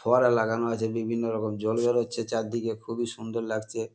ফোয়ারা লাগানো আছে বিভিন্ন রকম জল বেরচ্ছে চারদিকে খুবই সুন্দর লাগছে।